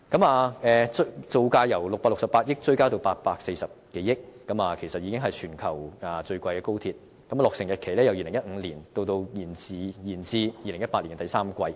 項目造價由668億元追加至840多億元，其實已經是全球最昂貴的高鐵，而落成日期由2015年延至2018年第三季。